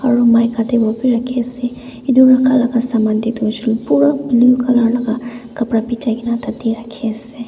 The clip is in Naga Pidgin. aru mik khate koina bi rakhi ase etu rakha laga saman te to hoise pura blue color laga kapra bichai kena tate rakhi ase.